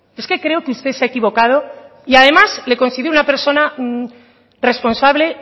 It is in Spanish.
es que creo que usted se ha equivocado y además le considero una persona responsable